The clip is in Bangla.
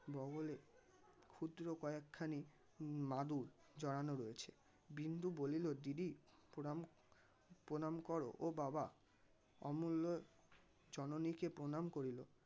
বগলে ক্ষুদ্র কয়েক খানি মাদুর জড়ানো রয়েছে বিন্দু বলিল দিদি প্রণাম প্রণাম কর ও বাবা অমুল্য জননীকে প্রণাম করিল.